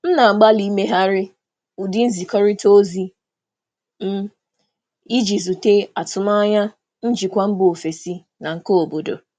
Ana m agbalị um imegharị ụdị nkwurịta okwu m iji gboo atụmanya ndị njikwa si mba ọzọ na nke obodo.